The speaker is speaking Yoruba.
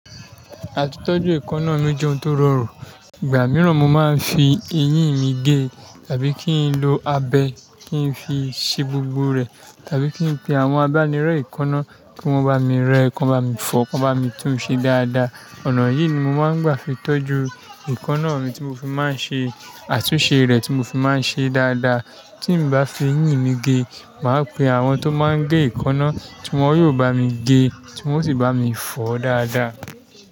Àtitọ́jú èékánná mi o jẹ́ ohun tó rọrùn. Ìgbà mìíràn mo máa ń fi eyín mi gé, tàbí kí n lo abẹ kí n fi ṣi gbogbo rẹ̀, tàbí kí n pe àwọn abánirọ̀ èékánná kí wọ́n bá mi rẹ ẹ, kan bá mi fọ, kan bá mi tún un ṣe dáadáa. Ọ̀nà yìí ni mo máa ń gbà fi tọ́jú èékánná mi tí mo fi máa ń ṣe, àtúnṣe rẹ̀ tí mo fi máa ń ṣe dáadáa. Tí ǹ bá fi eyìn mi gé, màá pe àwọn tó máa ń gé èékánná tí wọ́n yóò bá mi gé, tí wọ́n sì bá mi fọ dáadáa.